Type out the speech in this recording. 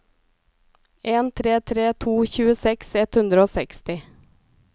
en tre tre to tjueseks ett hundre og seksti